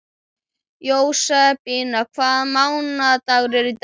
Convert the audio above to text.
Jósebína, hvaða mánaðardagur er í dag?